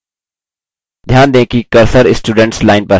ध्यान दें कि cursor students line पर है